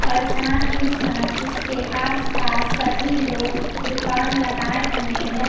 और साथ ही साथ इसके आस पास सभी लोग दुकान लगाए हुए हैं।